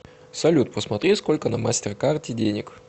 салют посмотри сколько на мастер карте денег